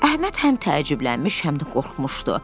Əhməd həm təəccüblənmiş, həm də qorxmuşdu.